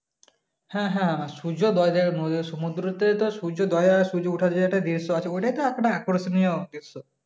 হ্যাঁ হ্যাঁ সমুদ্র তে তো সূর্যোদয় আর দৃশ্য আছে বলি না কতটা আকর্ষণীয় দৃশ্য